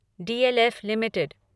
DLF limited